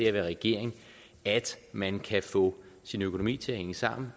at være regering at man kan få sin økonomi til at hænge sammen